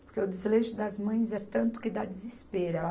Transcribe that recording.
Porque o desleixo das mães é tanto que dá desespero.